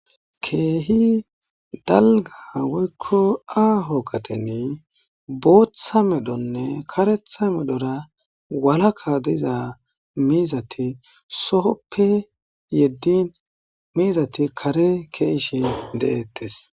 keehi dalga woykko aaho qateni booththa medhonne karetha medhora walaka diza miizati sohoppe yeddin miizati kare keeishe deettes.